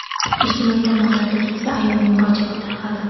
Ijtimoiy tarmoqlarda keksa ayolning murojaati tarqaldi.